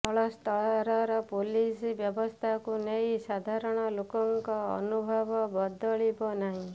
ତଳସ୍ତରର police ବ୍ୟବସ୍ଥାକୁ ନେଇ ସାଧାରଣ ଲୋକଙ୍କ ଅନୁଭବ ବଦଳିବ ନାହିଁ